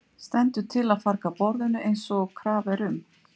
Stendur til að farga borðinu eins og krafa er um?